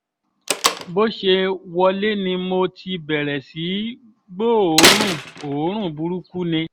bó ṣe wọlé ni mo ti bẹ̀rẹ̀ sí í gbóòórùn oorun burúkú ni